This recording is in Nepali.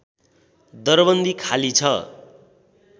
दरबन्दी खाली छ